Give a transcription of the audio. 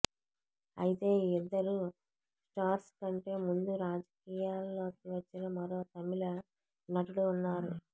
అయితే ఈ ఇద్దరు స్టార్స్ కంటే ముందు రాజకీయాల్లోకి వచ్చిన మరో తమిళ నటుడు ఉన్నారు